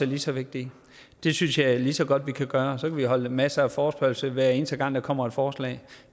lige så vigtige det synes jeg lige så godt vi kan gøre og så kan vi afholde masser af forespørgsler hver eneste gang der kommer et forslag